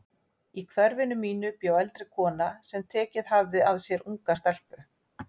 Í hverfinu mínu bjó eldri kona sem tekið hafði að sér unga stelpu.